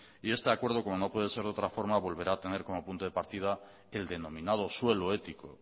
y este acuerdo como no puede ser de otra forma volverá a tener el punto de partido el denominado suelo ético